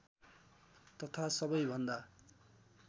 तथा सबै भन्दा